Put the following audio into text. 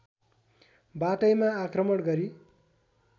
बाटैमा आक्रमण गरी